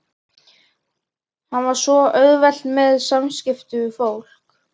Hann á svo auðvelt með samskipti við fólk.